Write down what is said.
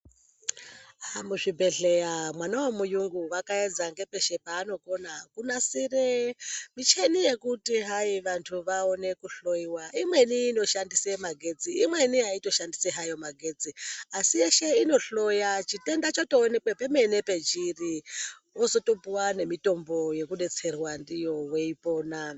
Muzvibhedhlera mwana we muyungu wakaedza ngepeshe paanokona kunasire michini yekuti hai vantu vaone kuhloiwa imweni inoshandise magetsi, imweni haitoshandise hayo magetsi asi yeshe inohloya chitenda chotoonekwa chemene pechiri wozotopuwa nemitombo yekudetserwa ndiyo weipona.